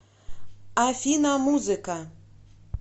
афина музыка